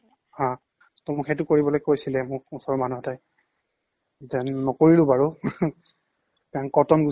হা টৌ সেইটো কৰিবলৈ কৈছিলে মোক ওচৰৰ মানুহতে যেন নকৰিলো বাৰু and কটন গুচি আহিলো